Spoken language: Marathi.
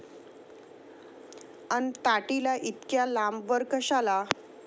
अन ताटीला इतक्या लांबवर कशाला?